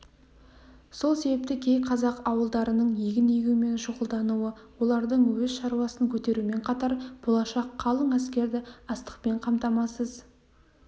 сол себепті кей қазақ ауылдарының егін егумен шұғылдануы олардың өз шаруасын көтерумен қатар болашақ қалың әскерді астықпен қамтамасыз